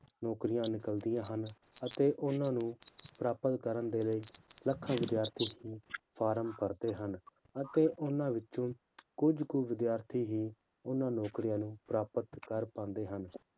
ਨੌਕਰੀਆਂ ਨਿਕਲਦੀਆਂ ਹਨ ਅਤੇ ਉਹਨਾਂ ਨੂੰ ਪ੍ਰਾਪਤ ਕਰਨ ਦੇ ਲਈ ਲੱਖਾਂ ਵਿਦਿਆਰਥੀ ਹੀ form ਭਰਦੇ ਹਨ, ਅਤੇ ਉਹਨਾਂ ਵਿੱਚੋਂ ਕੁੱਝ ਕੁ ਵਿਦਿਆਰਥੀ ਹੀ ਉਹਨਾਂ ਨੌਕਰੀਆਂ ਨੂੰ ਪ੍ਰਾਪਤ ਕਰ ਪਾਉਂਦੇ ਹਨ,